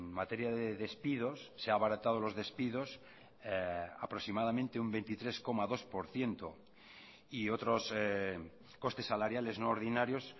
materia de despidos se ha abaratado los despidos aproximadamente un veintitrés coma dos por ciento y otros costes salariales no ordinarios